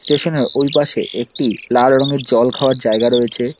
স্টেশনের ওই পাশে একটি লাল রঙের জল খাওয়ার জায়গা রয়েছে।